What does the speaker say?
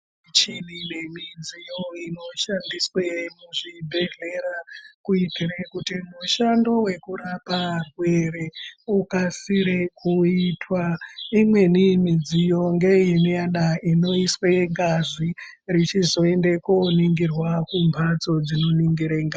Michini nemidziyo inoshandiswe muzvibhedhlera kuitire kuti mushando wekurape arwere ukasire kuitwa. Imweni midziyo ngeingadai inoiswe ngazi richizoende koningirwa kumhatso dzinoningire ngazi.